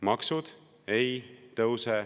Maksud ei tõuse.